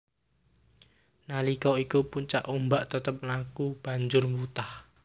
Nalika iku puncak ombak tetep mlaku banjur wutah